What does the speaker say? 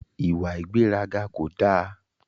Ìwà ìgbéraga ko da.